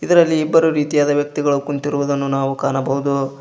ರಲ್ಲಿ ಇಬ್ಬರು ರೀತಿಯಾದ ವ್ಯಕ್ತಿಗಳು ಕುಂತಿರುದನ್ನು ನಾವು ಕಾಣಬಹುದು.